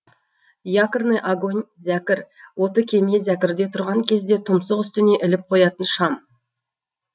якорный огонь зәкір оты кеме зәкірде тұрған кезде тұмсық үстіне іліп қоятын шам